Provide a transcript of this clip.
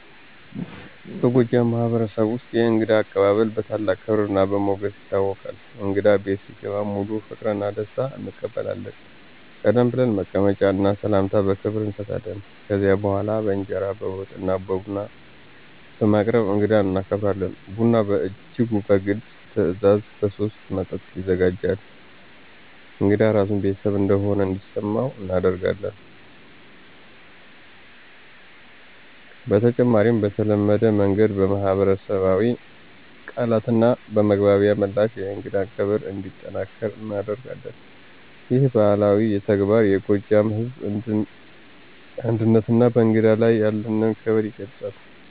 በጎጃም ማህበረሰብ ውስጥ የእንግዳ አቀባበል በታላቅ ክብርና በሞገስ ይታወቃል። እንግዳ በቤት ሲገባ በሙሉ ፍቅርና በደስታ እንቀበላለን፣ ቀደም ብለን መቀመጫ እና ሰላምታ በክብር እንሰጣለን። ከዚያ በኋላ በእንጀራ፣ በወጥ እና ቡና በማቅረብ እንግዳን እናከብራለን። ቡና በእጅጉ በግልጽ ትዕዛዝ በሶስት መጠጥ ይዘጋጃል፣ እንግዳ ራሱን ቤተሰብ እንደሆነ እንዲሰመው እናደርጋለን። በተጨማሪም በተለመደ መንገድ በማኅበራዊ ቃላትና በመግባቢያ ምላሽ የእንግዳን ክብር እንዲጠናከር እናደርጋለን። ይህ ባህላዊ ተግባር የጎጃም ሕዝብ አንድነትና በእንግዳ ላይ ያለንን ክብር ይገልጻል።